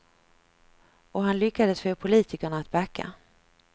Och han lyckades få politikerna att backa.